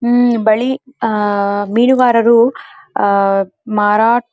ಉಹ್ಹ್ ಬಳಿ ಮೀನುಗಾರರು ಮಾರಾಟ --